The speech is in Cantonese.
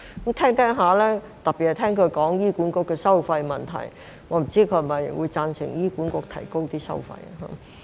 就他的發言，特別是他提及醫管局的收費問題，我不清楚他是否會贊成醫管局提高收費。